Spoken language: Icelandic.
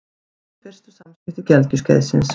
Þannig eru fyrstu samskipti gelgjuskeiðsins.